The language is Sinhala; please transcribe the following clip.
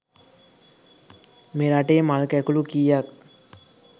මෙරටේ මල් කැකුළු කීයක්